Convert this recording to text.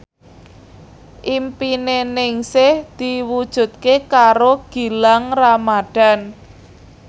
impine Ningsih diwujudke karo Gilang Ramadan